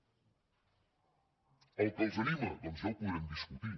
el que els anima doncs ja ho podrem discutir